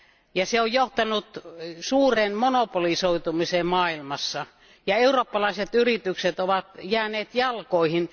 ja se on johtanut suureen monopolisoitumiseen maailmassa, ja eurooppalaiset yritykset ovat jääneet jalkoihin.